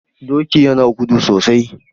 Doki yana gudu sosai